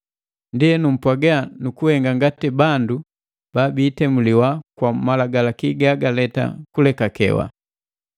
Ndienu, mpwaaga nu kuhenga ngati bandu babiitemuliwa kwa Malagalaki gagaleta kulekekewa.